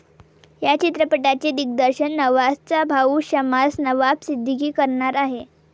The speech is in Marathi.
या चित्रपटाचे दिग्दर्शन नवाझचा भाऊ शमास नवाब सिद्दीकी करणार आहे.